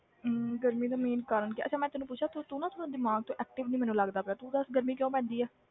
ਹਮ ਗਰਮੀ ਦਾ main ਕਾਰਨ ਕੀ ਆ ਅੱਛਾ ਮੈਂ ਤੈਨੂੰ ਪੁ਼ੱਛਿਆ ਤੂੰ ਤੂੰ ਨਾ ਥੋੜ੍ਹਾ ਦਿਮਾਗ ਤੋਂ active ਨੀ ਮੈਨੂੰ ਲੱਗਦਾ ਪਿਆ, ਤੂੰ ਦੱਸ ਗਰਮੀ ਕਿਉਂ ਪੈਂਦੀ ਹੈ?